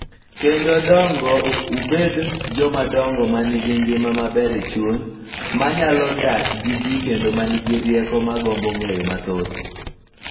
Kendo dongo ubed jomadongo ma nigi ngima maber e chuny, ma nyalo dak gi ji kendo ma nigi rieko ma gombo ng'eyo mathoth.